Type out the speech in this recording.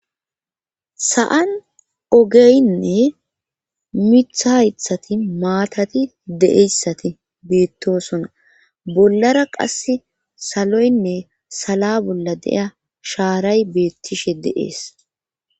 sa7an ogeynne mitha haythati maatati deeyssati beettosona bollara qass saloynne sala bolla de'iya shaaray beettishe de7ees